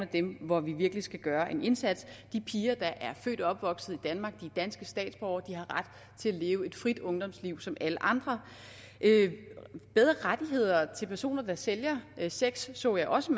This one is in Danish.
dem hvor vi virkelig skal gøre en indsats de piger der er født og opvokset i danmark og danske statsborgere har ret til at leve et frit ungdomsliv som alle andre bedre rettigheder til personer der sælger sex så jeg også